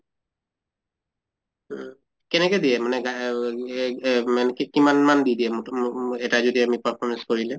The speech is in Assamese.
উম কেনেকে দিয়ে মানে গা এহ মানে কি কিমান মান দি দিয়ে এটা যদি আমি performance কৰিলে?